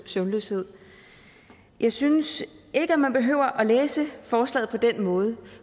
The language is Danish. søvnløshed jeg synes ikke at man behøver at læse forslaget på den måde